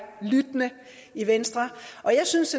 lyttende i venstre jeg synes